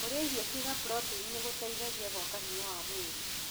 Kũrĩa irio cĩina proteini nĩ gũteithagia gwaka hinya wa mwĩri.